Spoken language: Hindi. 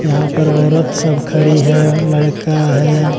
यहां पर औरत सब खड़ी है और लड़का है।